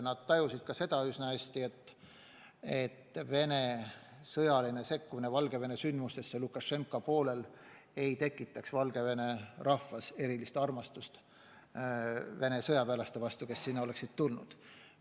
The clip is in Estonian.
Nad tajusid üsna hästi, et Venemaa sõjaline sekkumine Valgevene sündmustesse Lukašenka poolel ei tekitaks Valgevene rahvas erilist armastust Vene sõjaväelaste vastu, kes sinna oleksid tulnud.